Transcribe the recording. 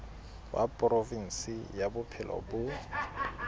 wa provinse ya bophelo bo